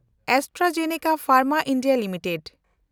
AstraZeneca Pharma India limited